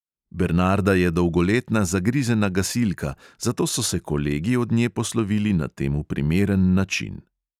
Bernarda je dolgoletna zagrizena gasilka, zato so se kolegi od nje poslovili na temu primeren način.